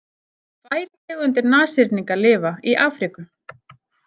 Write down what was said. Tvær tegundir nashyrninga lifa í Afríku.